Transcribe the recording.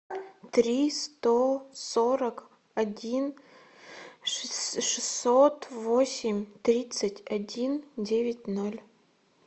три сто сорок один шестьсот восемь тридцать один девять ноль